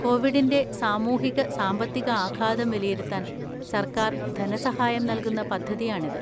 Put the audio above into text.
കൊവിഡിന്‍റെ സാമൂഹിക സാമ്പത്തിക ആഘാതം വിലയിരുത്താൻ സർക്കാർ ധനസഹായം നൽകുന്ന പദ്ധതിയാണിത്.